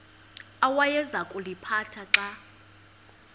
awayeza kuliphatha xa